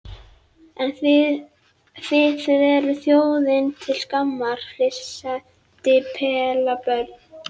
En þið þið eruð þjóðinni til skammar, flissandi pelabörn.